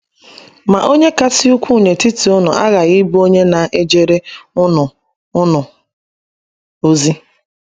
Ma onye kasị ukwuu n’etiti unu aghaghị ịbụ onye na - ejere unu unu ozi.